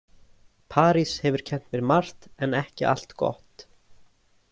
París hefur kennt mér margt en ekki allt gott.